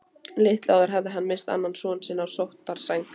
Litlu áður hafði hann misst annan son á sóttarsæng.